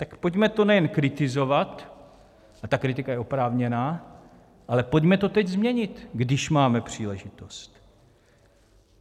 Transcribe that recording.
Tak pojďme to nejen kritizovat, a ta kritika je oprávněná, ale pojďme to teď změnit, když máme příležitost.